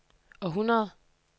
århundrede